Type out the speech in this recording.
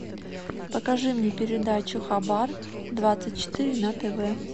покажи мне передачу хабар двадцать четыре на тв